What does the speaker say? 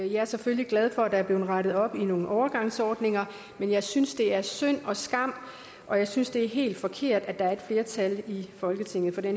jeg er selvfølgelig glad for at der er blevet rettet op i nogle overgangsordninger men jeg synes det er synd og skam og jeg synes det er helt forkert at der er et flertal i folketinget for det